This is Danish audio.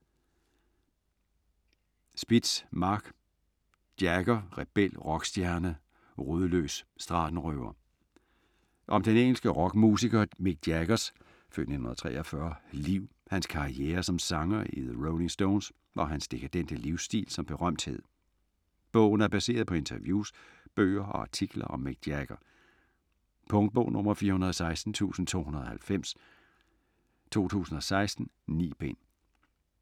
Spitz, Marc: Jagger - rebel, rockstjerne, rodløs, stratenrøver Om den engelske rockmusiker Mick Jaggers (f. 1943) liv, hans karriere som sanger i The Rolling Stones og hans dekadente livsstil som berømthed. Bogen er baseret på interviews, bøger og artikler om Mick Jagger. Punktbog 416290 2016. 9 bind.